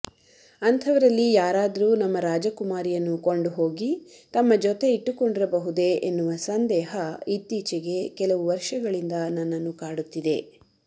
ಅಂಥವರಲ್ಲಿ ಯಾರಾದರೂ ನಮ್ಮ ರಾಜಕುಮಾರಿಯನ್ನು ಕೊಂಡುಹೋಗಿ ತಮ್ಮ ಜೊತೆ ಇಟ್ಟಕೊಂಡಿರಬಹುದೆ ಎನ್ನುವ ಸಂದೇಹ ಇತ್ತೀಚೆಗೆ ಕೆಲವು ವರ್ಷಗಳಿಂದ ನನ್ನನ್ನು ಕಾಡುತ್ತಿದೆ